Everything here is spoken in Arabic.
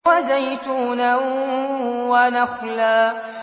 وَزَيْتُونًا وَنَخْلًا